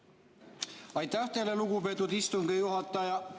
Aitäh teile, lugupeetud istungi juhataja!